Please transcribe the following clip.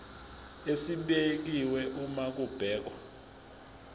esibekiwe uma kubhekwa